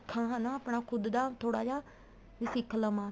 ਸਿੱਖਾ ਹਨਾ ਆਪਣਾ ਖੁੱਦ ਦਾ ਥੋੜਾ ਜਾ ਵੀ ਸਿੱਖ ਲਵਾ